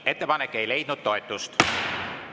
Ettepanek ei leidnud toetust.